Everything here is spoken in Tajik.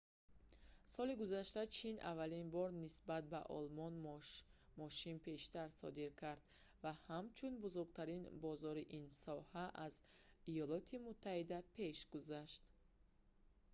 соли гузашта чин аввалин бор нисбат ба олмон мошин бештар содир кард ва ҳамчун бузургтарин бозори ин соҳа аз иёлоти муттаҳида пеш гузашт